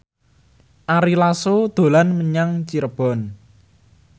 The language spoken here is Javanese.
Ari Lasso dolan menyang Cirebon